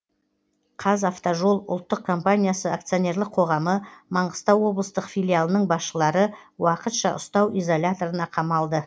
қазавтожол ұлттық компаниясы акционерлік қоғамы маңғыстау облыстық филиалының басшылары уақытша ұстау изоляторына қамалды